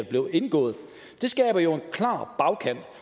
blev indgået det skaber jo en klar bagkant